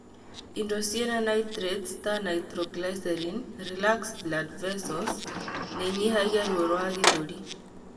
Indo ciĩna Nitrates ta nitroglycerin, relax blood vessels nĩinyihagia ruo rwa gĩthũri